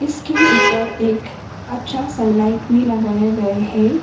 इसके ऊपर एक अच्छा सनलाइट भी लगाया गये है।